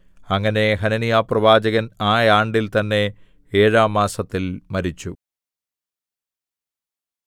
അങ്ങനെ ഹനന്യാപ്രവാചകൻ ആയാണ്ടിൽ തന്നെ ഏഴാം മാസത്തിൽ മരിച്ചു